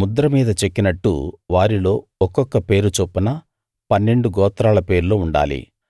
ముద్ర మీద చెక్కినట్టు వారిలో ఒక్కొక్క పేరు చొప్పున పన్నెండు గోత్రాల పేర్లు ఉండాలి